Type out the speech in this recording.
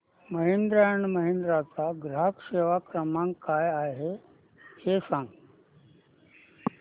Mahindra and Mahindra चा ग्राहक सेवा क्रमांक काय आहे हे सांगा